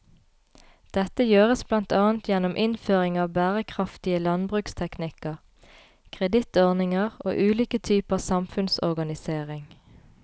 Dette gjøres blant annet gjennom innføring av bærekraftige landbruksteknikker, kredittordninger og ulike typer samfunnsorganisering.